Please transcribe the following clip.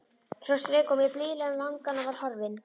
Svo strauk hún mér blíðlega um vangann og var horfin.